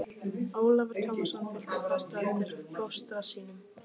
Ólafur Tómasson fylgdi fast á eftir fóstra sínum.